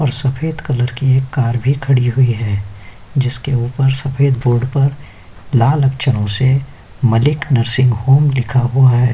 और सफ़ेद कलर की एक कार भी खड़ी हुई है जिसके उपर सफ़ेद बोर्ड पर लाल अक्षरों से मलिक नर्सिंग होम लिखा हुआ है।